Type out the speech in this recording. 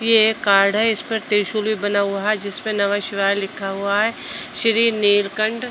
यह एक कार्ड है इसपे त्रिशूल भी बना हुआ है जिसपे नमः शिवाय लिखा हुआ है श्री नीलकंठ।